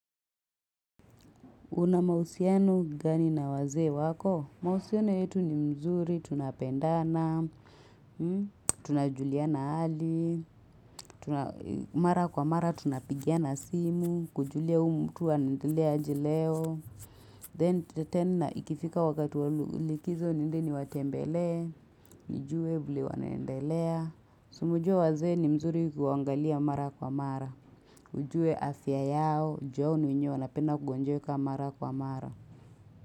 Una mahusianu gani na wazee wako? Mahusiano yetu ni mzuri, tunapendana, tunajuliana hali, mara kwa mara tunapigiana simu, kujulia huu mtu anaendelea aje leo, then tena ikifika wakati wa likizo niende niwatembele, nijue vile wanaendelea, si umejua wazee ni mzuri ukiwaangalia mara kwa mara, ujue afya yao, juu wao na wenye wanapenda kugonjeka mara kwa mara.